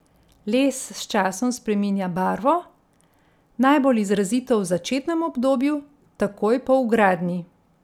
Les s časom spreminja barvo, najbolj izrazito v začetnem obdobju, takoj po vgradnji.